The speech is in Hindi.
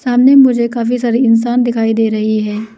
सामने मुझे काफी सारे इंसान दिखाई दे रही है।